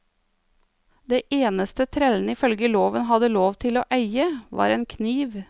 Det eneste trellene ifølge loven hadde lov til å eie, var en kniv.